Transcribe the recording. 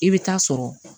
I bɛ taa sɔrɔ